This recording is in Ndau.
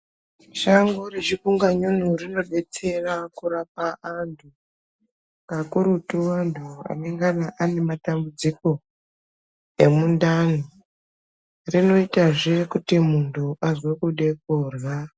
Shango rechipunganyunyu rinodetsera kurapa anthu kakurutu vanthu vanongana vane matambudziko emundani rinoitazve kuti munthu azwe kude kurhya.